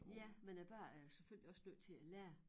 Ja men æ børn er jo selvfølgelig også nødt til at lære